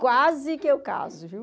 Quase que eu caso, viu?